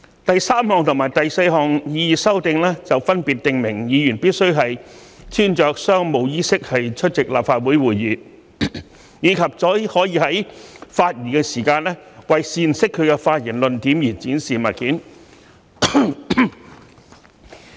第三項和第四項擬議修訂，分別訂明議員必須穿着商務衣飾出席立法會會議，以及只可在發言時為闡釋其發言論點而展示物件。